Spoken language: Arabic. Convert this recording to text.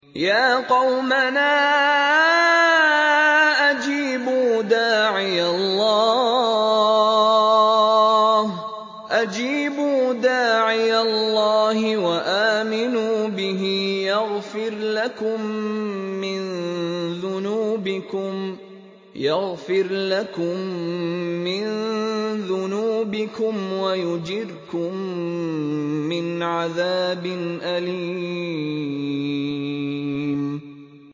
يَا قَوْمَنَا أَجِيبُوا دَاعِيَ اللَّهِ وَآمِنُوا بِهِ يَغْفِرْ لَكُم مِّن ذُنُوبِكُمْ وَيُجِرْكُم مِّنْ عَذَابٍ أَلِيمٍ